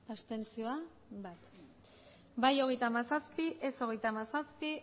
abstentzioak bai hogeita hamazazpi ez hogeita hamazazpi